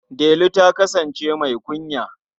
Delu ta kasance mai kunya.